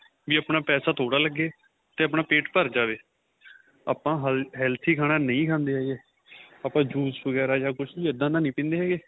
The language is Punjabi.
ਵੀ ਆਪਣਾਂ ਪੈਸਾ ਥੋੜਾ ਲੱਗੇ ਤੇ ਆਪਣਾ ਪੇਟ ਭਰ ਜਾਵੇ ਆਪਾਂ healthy ਖਾਣਾ ਨਹੀਂ ਖਾਦੇ ਹੈਗੇ ਆਪਾਂ juice ਵਗੇਰਾ ਜਾਂ ਕੁੱਛ ਵੀ ਇਹਦਾ ਦਾ ਨਹੀਂ ਪੀਂਦੇ ਹੈਗੇ